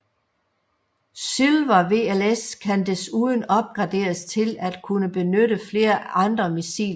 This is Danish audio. SYLVER VLS kan desuden opgraderes til at kunne benytte flere andre missiltyper